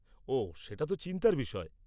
-ওঃ, সেটা তো চিন্তার বিষয়।